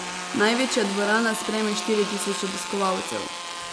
Največja dvorana sprejme štiri tisoč obiskovalcev.